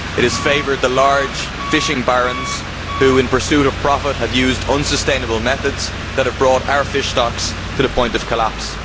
It has favoured the large fishing barons who, in pursuit of profit, have used unsustainable methods that have brought our fish stocks to the point of collapse.